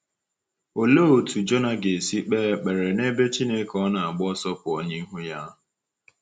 Olee otú Jona ga-esi kpee ekpere n’ebe Chineke ọ na-agba ọsọ pụọ n’ihu ya?